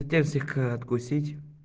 язык откусить